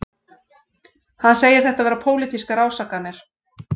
Hann segir þetta vera pólitískar ásakanir